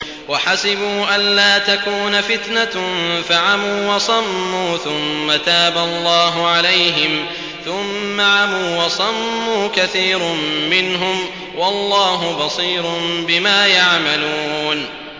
وَحَسِبُوا أَلَّا تَكُونَ فِتْنَةٌ فَعَمُوا وَصَمُّوا ثُمَّ تَابَ اللَّهُ عَلَيْهِمْ ثُمَّ عَمُوا وَصَمُّوا كَثِيرٌ مِّنْهُمْ ۚ وَاللَّهُ بَصِيرٌ بِمَا يَعْمَلُونَ